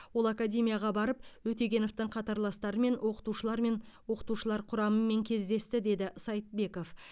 ол академияға барып өтегеновтың қатарластарымен оқытушылармен оқытушылар құрамымен кездесті деді сайтбеков